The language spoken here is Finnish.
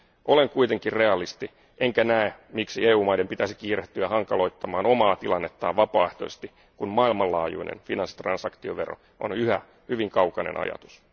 Olen kuitenkin realisti, enkä näe, miksi EU maiden pitäisi kiirehtiä hankaloittamaan omaa tilannettaan vapaaehtoisesti, kun maailmanlaajuinen finanssitransaktiovero on yhä hyvin kaukainen ajatus.